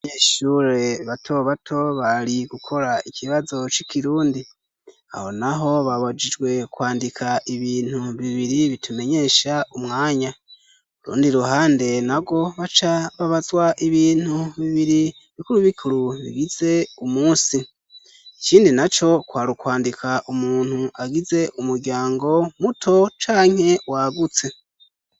Abanyeshure batobato bari gukora ikibazo c'ikirundi. Aho naho babajijwe kwandika ibintu bibiri bitumenyesha umwanya. Ku rundi ruhande narwo baca babazwa ibintu bibiri bikuru bikuru bigize umunsi. Ikindi na co kwari kwandika umuntu agize umuryango muto canke wagutse.